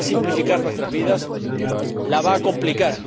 No va a simplificar nuestras vidas, las va a complicar.